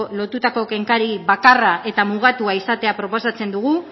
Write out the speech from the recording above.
lotutako kenkari bakarra eta mugatua izatea proposatzen dugu